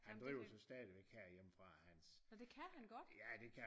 Han driver så stadigvæk her hjemme fra Hans